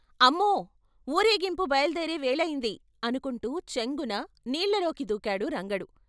అమ్మో! వూరేగింపు బయలుదేరే వేళయింది, ' అనుకుంటూ చెంగున నీళ్ళలోకి దూకాడు రంగడు .